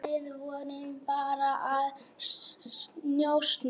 Við vorum bara að njósna,